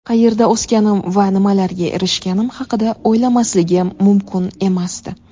Qayerda o‘sganim va nimalarga erishganim haqida o‘ylamasligim mumkin emasdi.